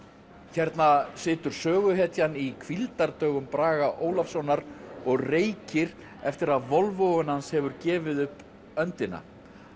hérna situr söguhetjan í hvíldardögum Braga Ólafssonar og reykir eftir að Volvoinn hans hefur gefið upp öndina